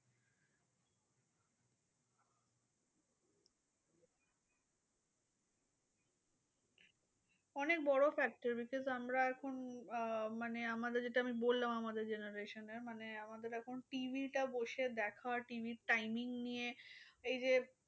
অনেক বড় factor because আমরা এখন আহ মানে আমাদের যেটা আমি বললাম আমাদের generation এ মানে আমাদের এখন TV টা বসে দেখা TV র timing নিয়ে এইযে